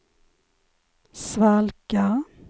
svalka